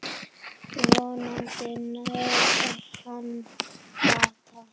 Vonandi nær hann bata.